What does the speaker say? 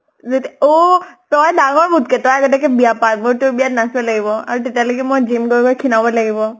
যেত অহ তই ডাঙৰ মোতকে । তই আগতিয়াকে বিয়া পাত। মই তোৰ বিয়াত নাচিব লাগিব আৰু তেতিয়ালৈকে মই gym গৈ খিনাব লাগিব।